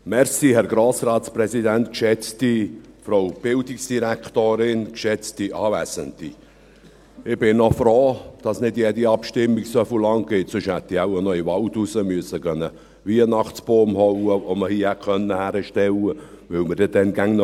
Ich bin noch froh, dass nicht jede Abstimmung so lange dauert, sonst hätte ich wohl im Wald noch einen Weihnachtsbaum schlagen gehen müssen, den man hier hätte aufstellen können, weil wir dann immer noch hier gewesen wären.